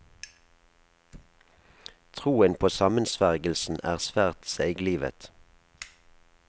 Troen på sammensvergelsen er svært seiglivet.